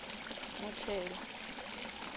muthelo